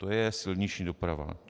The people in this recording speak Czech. - To je silniční doprava.